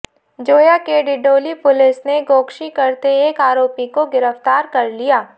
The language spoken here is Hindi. जोया के डिडौली पुलिस ने गोकशी करते एक आरोपित को गिरफ्तार कर लिया